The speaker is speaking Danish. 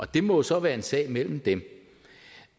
det må så være en sag imellem dem